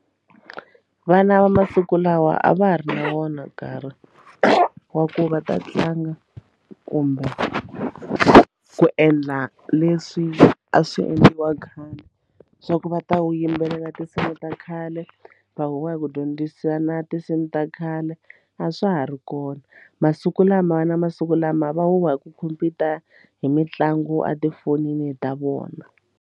Vana va masiku lawa a va ha ri na wona nkarhi wa ku va ta tlanga kumbe ku endla leswi a swi endliwa khale swa ku va ta wu yimbelela tinsimu ta khale va huwa hi ku dyondzisa na tinsimu ta khale a swa ha ri kona masiku lama vana masiku lama va huwa hi ku khompyuta hi mitlangu a tifonini ta vona.